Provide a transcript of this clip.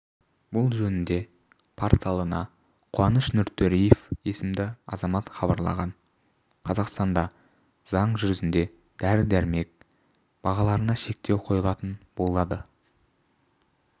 бұл жөнінде порталына қуаныш нұртөреев есімді азамат хабарлаған қазақстанда заң жүзінде дәрі-дәрмек бағаларына шектеу қойылатын болады